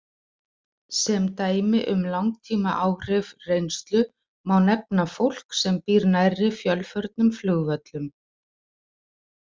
Sem dæmi um langtímaáhrif reynslu má nefna fólk sem býr nærri fjölförnum flugvöllum.